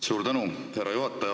Suur tänu, härra juhataja!